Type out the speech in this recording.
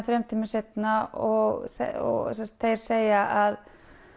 þremur tímum seinna og þeir segja að